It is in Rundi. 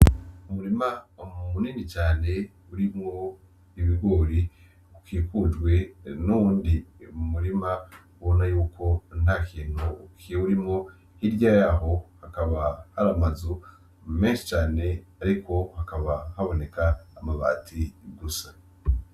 Umurima munini cane urimwo ibigori ukikujwe n’uwundi murima ubona yuko ata kintu kiwurimwo , hirya yaho hakaba hari amazu menshi cane ariko hakaba haboneka amabati gusa.